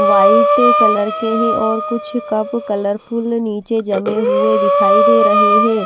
White colour के हैं और कुछ कप कलरफुल नीचे जमे हुए दिखाई दे रहे हैं।